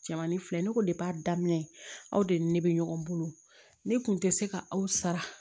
Jɛmani filɛ ne ko a daminɛ aw de ni ne bɛ ɲɔgɔn bolo ne tun tɛ se ka aw sara